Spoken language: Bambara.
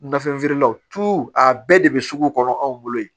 Nafɛn feerelaw a bɛɛ de bɛ sugu kɔnɔ anw bolo yen